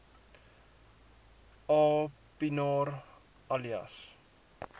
aa pienaar alias